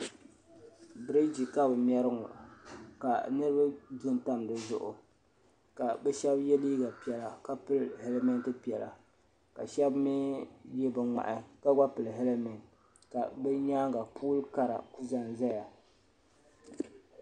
Biriji ka bɛ mɛri ŋɔ ka niriba du m-pa di zuɣu ka bɛ shɛba ye liiga piɛla ka pili helimenti piɛla ka shɛba mi ye bin' ŋmahi ka gba pili helimenti ka bɛ nyaaga pooli kara n-ku za n-zaya.